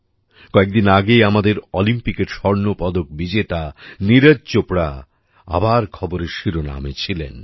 কয়েকদিন আগে আমাদের অলিম্পিকের স্বর্ণপদক বিজেতা নীরজ চোপড়া আবার খবরের শিরোনামে ছিলেন